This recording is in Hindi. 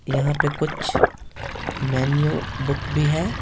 यहाँ पे कुछ मेन्यू बुक भी है।